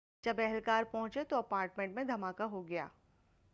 جب اہلکار پہنچنے تو اپارٹمنٹ میں دھماکہ ہو گیا